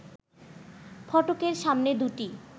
ফটকের সামনে দুটি